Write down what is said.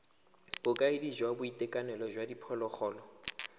bokaedi jwa boitekanelo jwa diphologolo